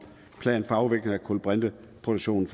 plan for afvikling af kulbrinteproduktion